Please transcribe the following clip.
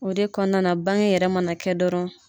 O de kɔnɔna na bange yɛrɛ manakɛ dɔrɔn.